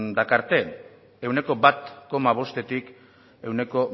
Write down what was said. dakarte ehuneko bat koma bostetik ehuneko